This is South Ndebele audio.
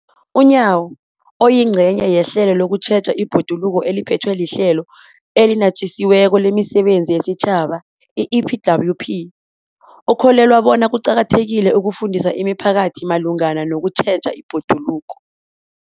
UNyawo, oyingcenye yehlelo lokutjheja ibhoduluko eliphethwe liHlelo eliNatjisi weko lemiSebenzi yesiTjhaba, i-EPWP, ukholelwa bona kuqakathekile ukufundisa imiphakathi malungana nokutjheja ibhoduluko.